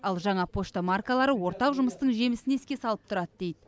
ал жаңа пошта маркалары ортақ жұмыстың жемісін еске салып тұрады дейді